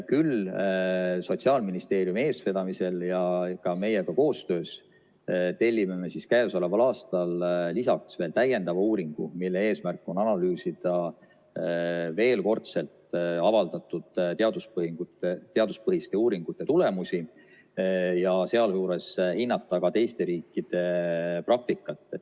Küll tellime Sotsiaalministeeriumi eestvedamisel ja temaga koostöös käesoleval aastal lisaks veel täiendava uuringu, mille eesmärk on veel kord analüüsida avaldatud teaduspõhiste uuringute tulemusi ja sealjuures hinnata ka teiste riikide praktikat.